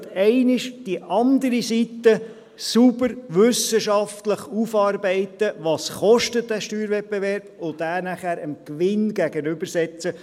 Also: Man sollte einmal auf der anderen Seite sauber wissenschaftlich aufarbeiten, was dieser Steuerwettbewerb kostet, und dies nachher dem Gewinn gegenübersetzen.